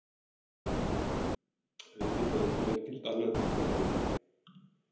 Auðvitað kom ekkert annað til greina.